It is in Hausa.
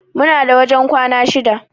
Muna da wajen kwana shida.